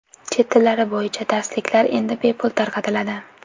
Chet tillari bo‘yicha darsliklar endi bepul tarqatiladi.